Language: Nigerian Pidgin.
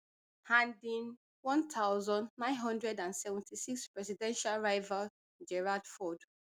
and im one thousand, nine hundred and seventy-six presidential rival gerald ford